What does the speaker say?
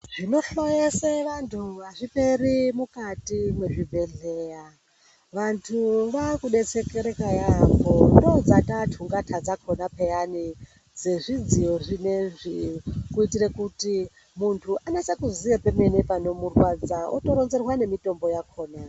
Zvinofayesa vantu hazviperi mukati mezvibhedhleya. Vantu vaakudetsekereka yaembo. Ndidzo dzaatotunggata dzacho peyani dzezvidziyo zvinoizvi kuitire kuti muntu anyatse kuziya pemene panomurwadza otoronzerwa nemitombo yakona.